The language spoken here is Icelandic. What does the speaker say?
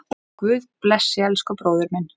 Guð blessi elsku bróður minn.